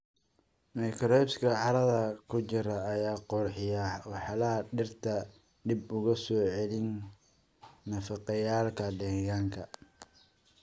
Microbes-ka carrada ku jira ayaa qurxiya walxaha dhirta, dib ugu soo celiya nafaqeeyayaalka deegaanka.